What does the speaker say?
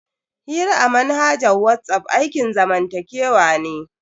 Hira a manhajar WhatsApp aikin zamantakewa ne.